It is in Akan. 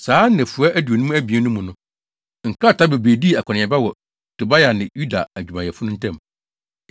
Saa nnafua aduonum abien no mu no, nkrataa bebree dii akɔneaba wɔ Tobia ne Yuda adwumayɛfo no ntam.